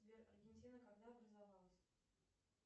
сбер аргентина когда образовалась